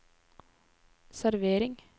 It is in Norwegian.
servering